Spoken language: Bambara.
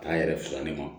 K'a yɛrɛ filani ma